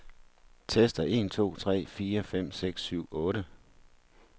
Tester en to tre fire fem seks syv otte.